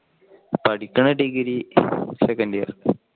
പഠിക്കണ degree second year